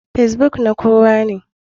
Kacebook na kowane.